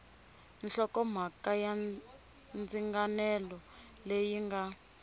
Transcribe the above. hlokomhaka ya ndzinganelo leyi nga